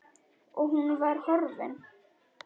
Og hún var horfin.